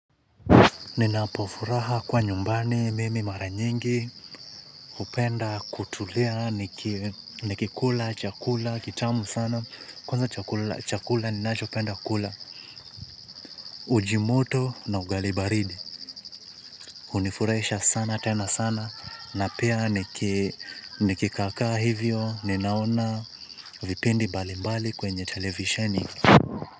Ninapofuraha kuwa nyumbani mimi mara nyingi hupenda kutulia nikikula chakula kitamu sana, kwanza chakula ninacho penda kula, uji moto na ugali baridi, hunifurahisha sana tena sana na pia nikikaa kaa hivyo ninaona vipindi mbalimbali kwenye televisheni.